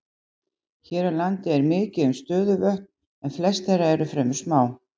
Hér á landi er mikið um stöðuvötn en flest þeirra eru fremur smá.